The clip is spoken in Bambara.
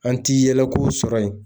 An ti yɛlɛko sɔrɔ yen